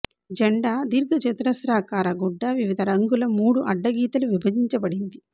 జెండా దీర్ఘచతురస్రాకార గుడ్డ వివిధ రంగుల మూడు అడ్డ గీతలు విభజించబడింది